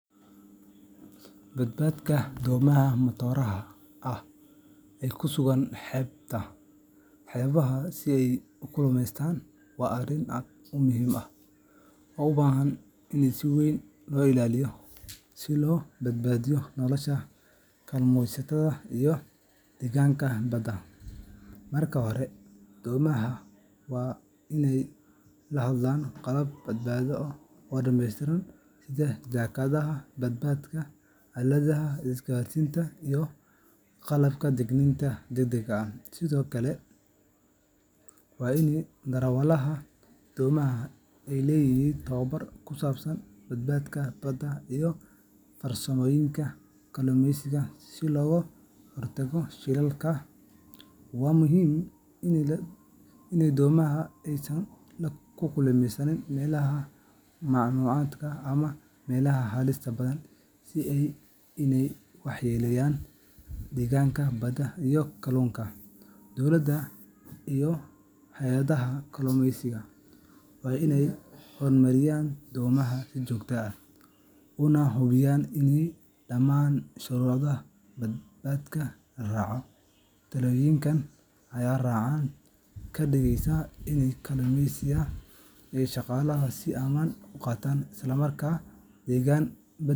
Badqabka doomaha matooraha ah ee ku sugan xeebaha si ay u kalluumaystaan waa arrin aad muhiim u ah oo u baahan in si weyn loo ilaaliyo si loo badbaadiyo nolosha kalluumaysatada iyo deegaanka badda. Marka hore, doomaha waa in ay lahaadaan qalab badbaado oo dhammeystiran sida jaakadaha badbaadada, aaladaha isgaarsiinta, iyo qalabka digniinta degdegga ah. Sidoo kale, waa in darawalada doomaha ay leeyihiin tababar ku saabsan badqabka badda iyo farsamooyinka kalluumaysiga si looga hortago shilalka. Waxaa muhiim ah in doomaha aysan ku kalluumaysan meelaha mamnuuca ah ama meelaha halista badan, si aanay u waxyeeleyn deegaanka badda iyo kalluunka. Dowladda iyo hay’adaha kalluumaysiga waa in ay kormeeraan doomaha si joogto ah, una hubiyaan in dhammaan shuruucda badqabka la raacayo. Tallaabooyinkan ayaa gacan ka geysanaya in kalluumaysatada ay shaqadooda si ammaan ah u gutaan, isla markaana deegaan